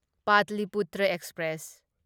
Pataliputra express